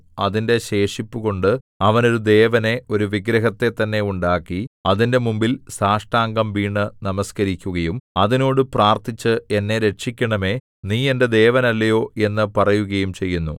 അതിന്റെ ശേഷിപ്പുകൊണ്ട് അവൻ ഒരു ദേവനെ ഒരു വിഗ്രഹത്തെ തന്നെ ഉണ്ടാക്കി അതിന്റെ മുമ്പിൽ സാഷ്ടാംഗം വീണു നമസ്കരിക്കുകയും അതിനോട് പ്രാർത്ഥിച്ച് എന്നെ രക്ഷിക്കണമേ നീ എന്റെ ദേവനല്ലയോ എന്നു പറയുകയും ചെയ്യുന്നു